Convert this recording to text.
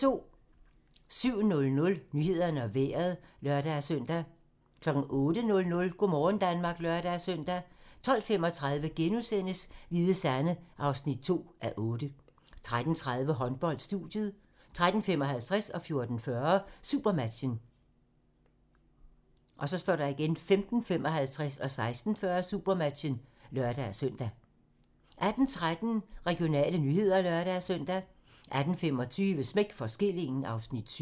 07:00: Nyhederne og Vejret (lør-søn) 08:00: Go' morgen Danmark (lør-søn) 12:35: Hvide Sande (2:8)* 13:30: Håndbold: Studiet 13:55: Supermatchen 14:40: Supermatchen 15:55: Supermatchen (lør-søn) 16:40: Supermatchen (lør-søn) 18:13: Regionale nyheder (lør-søn) 18:25: Smæk for skillingen (Afs. 7)